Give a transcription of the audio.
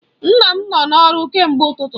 Nna m nọ n'ọrụ kemgbe ụtụtụ.